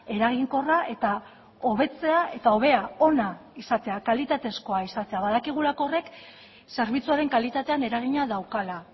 eraginkorra eta hobetzea eta hobea ona izatea kalitatezkoa izatea badakigulako horrek zerbitzuaren kalitatean eragina daukala